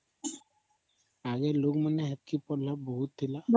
ଆଗେ ର ଲୋକମାନେ ସେତିକି ପଢ଼ ଲେ ବହୁତ ଥିଲା